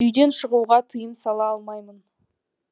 үйден шығуға тыйым сала алмаймын